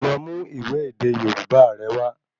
Lọ mú ìwé èdè Yorubá rẹ wa